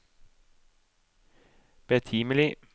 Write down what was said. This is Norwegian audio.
betimelig